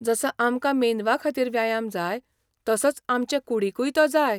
जसो आमकां मेंदवाखातीर व्यायाम जाय तसोच आमचे कूडींकूय तो जाय.